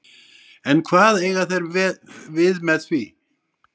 En hvað eiga þeir við með því?